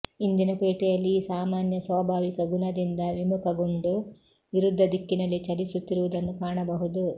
ಇಂದಿನ ಪೇಟೆಯಲ್ಲಿ ಈ ಸಾಮಾನ್ಯ ಸ್ವಾಭಾವಿಕ ಗುಣದಿಂದ ವಿಮುಖಗೊಂಡು ವಿರುದ್ಧ ದಿಕ್ಕಿನಲ್ಲಿ ಚಲಿಸುತ್ತಿರುವುದನ್ನು ಕಾಣಬಹುದು